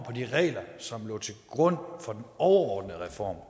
de regler som lå til grund for overordnede reform